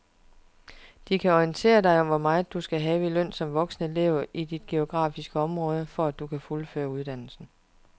De kan orientere dig om hvor meget du skal have i løn som voksenelev i dit geografiske område, for at du kan fuldføre uddannelsen.